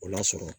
O lasɔrɔ